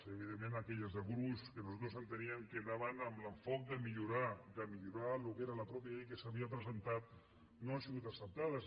evidentment aquelles de gruix que nosaltres enteníem que anaven amb l’enfocament de millorar de millorar el que era la mateixa llei que s’havia presentat no han sigut acceptades